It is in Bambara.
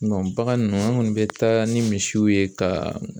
bagan ninnu an kɔni bɛ taa ni misiw ye ka